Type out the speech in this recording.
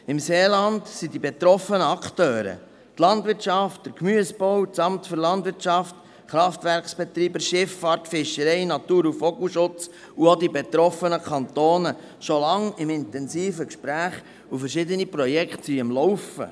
Im Seeland sind die betroffenen Akteure, die Landwirtschaft, die Gemüsebauern, das Kantonale Amt für Landwirtschaft und Natur (LANAT), die Kraftwerkbetreiber, die Schifffahrt, die Fischerei und der Vogelschutz sowie die betroffenen Kantone, schon lange im intensiven Gespräch, und verschiedene Projekte sind am Laufen.